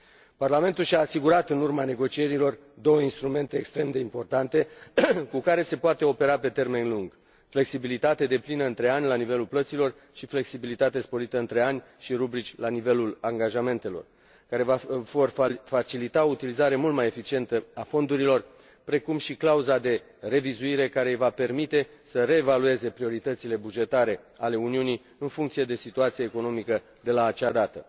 Parlamentul și a asigurat în urma negocierilor două instrumente extrem de importante, cu care se poate opera pe termen lung flexibilitate deplină între ani la nivelul plăților și flexibilitate sporită între ani și rubrici la nivelul angajamentelor și care vor facilita o utilizare mult mai eficientă a fondurilor, precum și clauza de revizuire, care îi va permite să reevalueze prioritățile bugetare ale Uniunii, în funcție de situația economică de la acea dată.